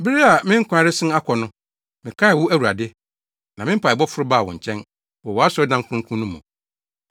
“Bere a me nkwa resen akɔ no, mekaee wo Awurade, na me mpaebɔ foro baa wo nkyɛn, wɔ wʼasɔredan kronkron no mu.